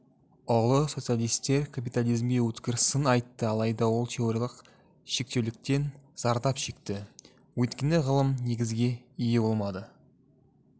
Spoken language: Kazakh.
ұлы социалистер капитализмге өткір сын айтты алайда ол теориялық шектеуліктен зардап шекті өйткені ғылыми негізге ие болмады